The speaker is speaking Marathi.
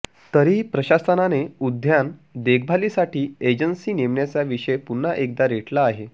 तरीही प्रशासनाने उद्यान देखभालीसाठी एजन्सी नेमण्याचा विषय पुन्हा एकदा रेटला आहे